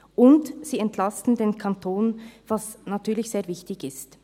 Und: Sie entlasten den Kanton, was natürlich sehr wichtig ist.